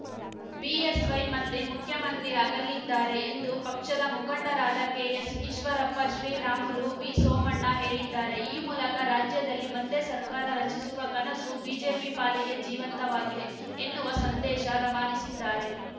BSY ಮತ್ತೆ ಮುಖ್ಯಮಂತ್ರಿ ಆಗಲಿದ್ದಾರೆ ಎಂದು ಪಕ್ಷದ ಮುಖಂಡರಾದ ಕೆಎಸ್‌ಈಶ್ವರಪ್ಪ ಶ್ರೀರಾಮುಲು ವಿಸೋಮಣ್ಣ ಹೇಳಿದ್ದಾರೆ ಈ ಮೂಲಕ ರಾಜ್ಯದಲ್ಲಿ ಮತ್ತೆ ಸರ್ಕಾರ ರಚಿಸುವ ಕನಸು ಬಿಜೆಪಿ ಪಾಲಿಗೆ ಜೀವಂತವಾಗಿದೆ ಎನ್ನುವ ಸಂದೇಶ ರವಾನಿಸಿದ್ದಾರೆ